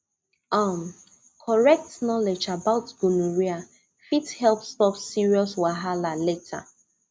um correct knowledge about gonorrhea fit help stop serious wahala later